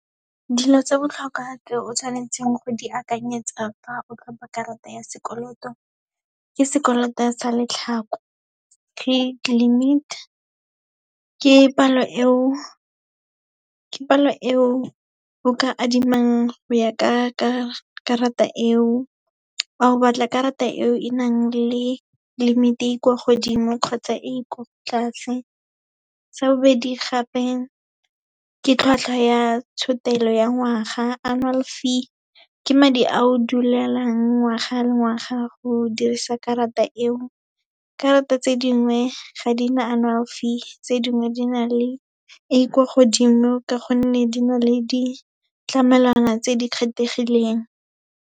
Dilo tsa botlhokwa tse o tshwanetseng go di akanyetsa fa o tlhopa karata ya sekoloto, ke sekoloto sa , credit limit, ke palo eo o ka adimang go ya ka karata eo, o batla karata eo e nang le limit-e e kwa godimo, kgotsa e kwa tlase. Sa bobedi gape, ke tlhwatlhwa ya tshotelo ya ngwaga, annual fee, ke madi ao dulelang ngwaga le ngwaga, go dirisa karata eo. Karata tse dingwe ga di na annual fee, tse dingwe di na le e kwa godimo, ka gonne di na le di ditlamelwana tse di kgethegileng.